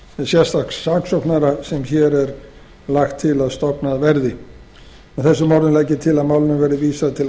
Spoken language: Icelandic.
sérstaks saksóknara sem hér er lagt til að verði stofnað með þessum orðum legg ég til að málinu verði vísað til